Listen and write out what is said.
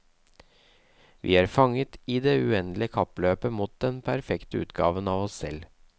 Vi er fanget i det uendelige kappløpet mot den perfekte utgaven av oss selv.